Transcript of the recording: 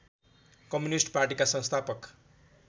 communist पार्टीका संस्थापक